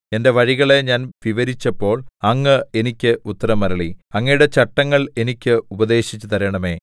എന്റെ വഴികളെ ഞാൻ വിവരിച്ചപ്പോൾ അങ്ങ് എനിക്ക് ഉത്തരമരുളി അങ്ങയുടെ ചട്ടങ്ങൾ എനിക്ക് ഉപദേശിച്ചു തരണമേ